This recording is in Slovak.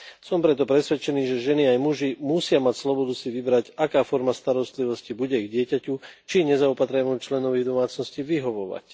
Som preto presvedčený, že ženy aj muži musia mať slobodu si vybrať, aká forma starostlivosti bude ich dieťaťu či nezaopatrenému členovi v domácnosti vyhovovať.